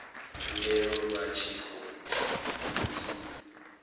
khumbelo vha tshi khou i